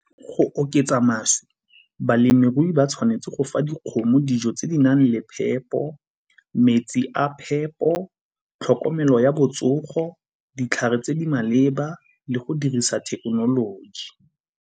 Go oketsa mašwi, balemirui ba tshwanetse go fa dikgomo dijo tse di nang le phepo, metsi a phepo, tlhokomelo ya botsogo, ditlhare tse di maleba le go dirisa thekenoloji.